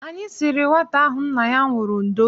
Anyị siri nwata ahụ nna ya nwụrụ ndo.